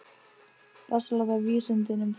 Best að láta vísindin um það.